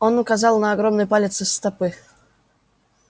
он указал на огромный палец стопы